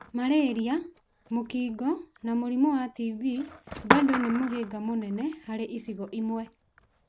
malaria, mũkingo na mũrimũ wa TB bandũ nĩ mũhinga mũnene harĩ icigo imwe.